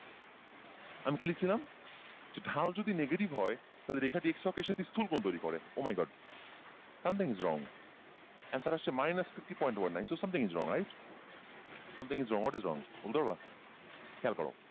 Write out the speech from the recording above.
আমি কী লিখেছিলাম যে ঢাল যদি negative হয় তাহলে রেখাটি x অক্ষের সাথে স্থুলকোণ তৈরি করে o my god something is wrong, answer আসছে minus fifty point one nine so something is wrong right? something is wrong what is wrong? বলতে পারবা? খেয়াল করো,